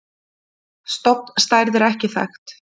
Stofnstærð er ekki þekkt.